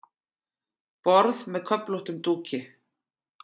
Borð með köflóttum dúki.